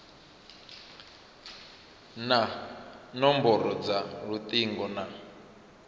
na nomboro dza lutingo na